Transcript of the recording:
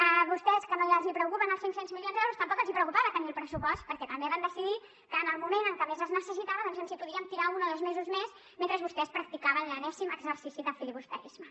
a vostès que no els preocupen els cinc cents milions d’euros tampoc els preocupava tenir el pressupost perquè també vam decidir que en el moment en què més es necessitava doncs ens hi podíem tirar un o dos mesos més mentre vostès practicaven l’enèsim exercici de filibusterisme